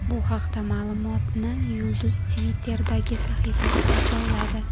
Bu haqdagi ma’lumotni yulduz Twitter’dagi sahifasiga joyladi.